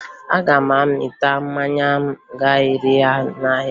Aga m amịta mmanya m ga-ere n'ahịa